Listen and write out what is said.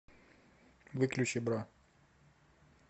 выключи бра